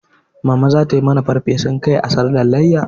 Mama zata mana farfesun kai a sallar layya